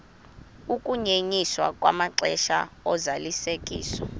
ukunyenyiswa kwamaxesha ozalisekiso